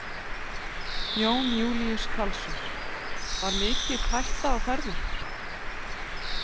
Jón Júlíus Karlsson: Var mikið hætta á ferðum?